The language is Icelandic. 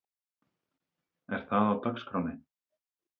Er það á dagskránni?